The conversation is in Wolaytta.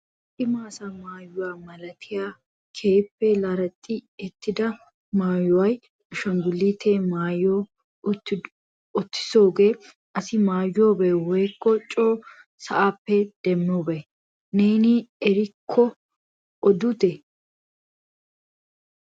Cima asaa maayuwa malatiya keehippe larexxi ittida maayuwa ashinggulutiua mayis uttodooge asi maayiyoobe woykko coo sa'appe demobbe? Neen a erikko odute?